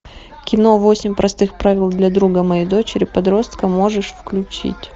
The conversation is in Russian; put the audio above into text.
кино восемь простых правил для друга моей дочери подростка можешь включить